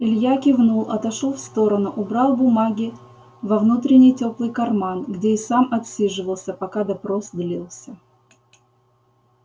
илья кивнул отошёл в сторону убрал бумаги во внутренний тёплый карман где и сам отсиживался пока допрос длился